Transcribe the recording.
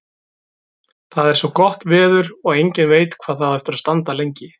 Það er svo gott veður og enginn veit hvað það á eftir að standa lengi.